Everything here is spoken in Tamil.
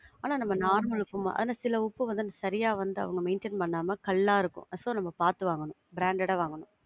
ஆனா நம்ம normal உப்பு மாரி ஆனா சில உப்பு வந்து சரியா வந்து அவங்க maintain பண்ணாம கல்லா இருக்கும். So நாம பாத்து வாங்கணும். branded ஆ வாங்கணும்.